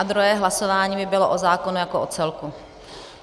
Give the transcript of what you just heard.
A druhé hlasování by bylo o zákonu jako o celku.